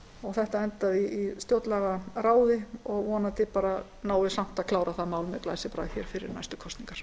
og þetta endaði í stjórnlagaráði vonandi náum við samt að klára það mál með glæsibrag fyrir næstu kosningar